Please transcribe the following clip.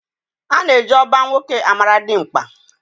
Ana eji oba nwoke amara dimkpa.